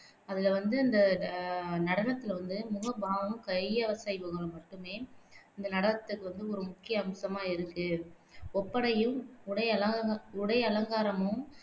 அதுல வந்து இந்த ஆஹ் நடனத்துல வந்து முகபாவமும், கையசைவுகளும் மட்டுமே இந்த நடனத்துக்கு வந்து ஒரு முக்கிய அம்சமா இருக்கு ஒப்பனையும், உடையல உடையலங்காரமும்